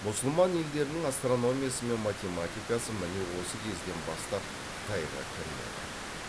мұсылман елдерінің астрономиясы мен математикасы міне осы кезден бастап қытайға кірнеді